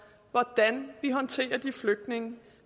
hvordan vi håndterer de flygtninge